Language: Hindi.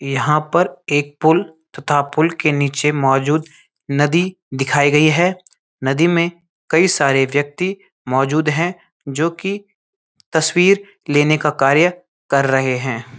यहाँ पर एक पुल तथा पुल के नीचे मौजूद नदी दिखाई गई है नदी में कई सारे व्यक्ति मौजूद हैं जो कि तस्वीर लेने का कार्य कर रहें हैं।